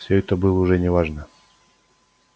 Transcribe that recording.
все это было уже не важно